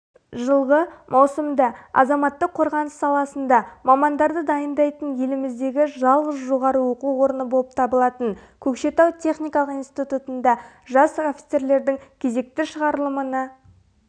жылғы маусымда азаматтық қорғаныс саласында мамандарды дайындайтын еліміздегі жалғыз жоғары оқу орны болып табылатын көкшетау техникалық институтында жас офицерлердің кезекті шығарылымына